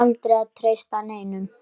Aldrei að treysta neinum.